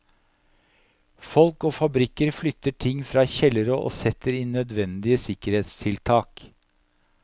Folk og fabrikker flytter ting fra kjellere og setter inn nødvendige sikkerhetstiltak.